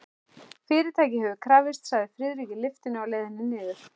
Fyrirtækið hefur krafist, sagði Friðrik í lyftunni á leiðinni niður.